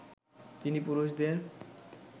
তিনি পুরুষদের